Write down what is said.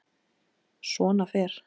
Svona fer.